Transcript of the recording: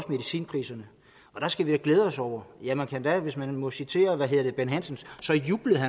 medicinpriserne og der skal vi da glæde os over ja man kan endda hvis man må citere bent hansen juble